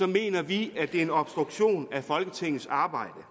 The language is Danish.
mener vi at det er en obstruktion af folketingets arbejde